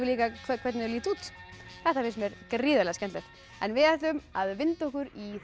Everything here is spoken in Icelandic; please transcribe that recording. hvernig þau líta út þetta finnst mér gríðarlega skemmtilegt en við ætlum að vinda okkur í